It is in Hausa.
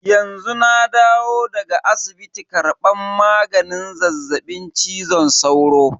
Yanzu na dawo daga asibiti karban maganin zazzaɓin cizon sauro.